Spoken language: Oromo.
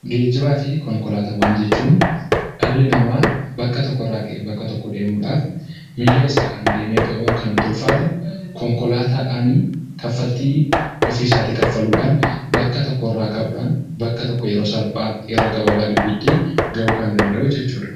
Geejibaafi Konkolaataawwan jechuun dhalli namaa bakka tokkorraa ka'ee bakka tokko deemuudhaaf, miilla isaadhaan deemee gahuun kan itti ulfaatu, konkolaataadhaan kanfaltii ofii isaatii kaffaluudhaan bakka tokkorraa ka'uudhaan bakka tokko yeroo salphaa yeroo gabaabaa gidduutti gahuu kan danda'udha jechuudha.